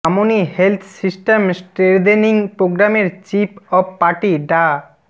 মামনি health system strengthening প্রোগ্রামের chief of party ডা